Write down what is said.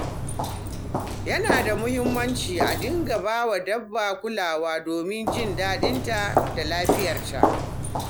Yana da muhimmanci a dinga ba dabba kulawa domin jin daɗinta da lafiyarta.